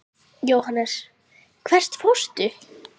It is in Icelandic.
Jóhannes: Hvert fórstu?